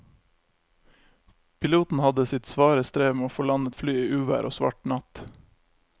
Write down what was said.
Piloten hadde sitt svare strev med å få landet flyet i uvær og svart natt.